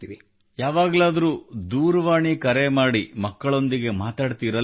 ಯಾವಾಗಲಾದರೂ ದೂರವಾಣಿ ಕರೆ ಮಾಡಿ ಮಕ್ಕಳೊಂದಿಗೆ ಮಾತಾಡುತ್ತೀರಲ್ಲವೆ